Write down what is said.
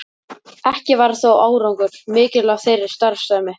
Ekki varð þó árangur mikill af þeirri starfsemi.